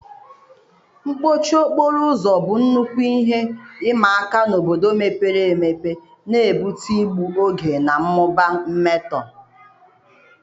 mkpọchi okporo ụzọ bụ nnukwu ihe ịma aka n'obodo mepere emepe, na-ebute igbu oge na mmụba mmetọ.